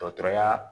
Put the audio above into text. Dɔgɔtɔrɔya